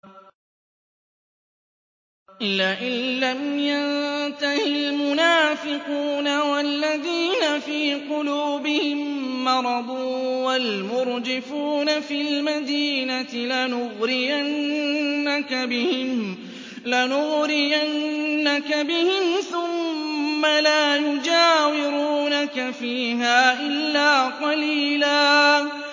۞ لَّئِن لَّمْ يَنتَهِ الْمُنَافِقُونَ وَالَّذِينَ فِي قُلُوبِهِم مَّرَضٌ وَالْمُرْجِفُونَ فِي الْمَدِينَةِ لَنُغْرِيَنَّكَ بِهِمْ ثُمَّ لَا يُجَاوِرُونَكَ فِيهَا إِلَّا قَلِيلًا